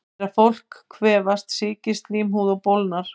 Þegar fólk kvefast sýkist slímhúðin og bólgnar.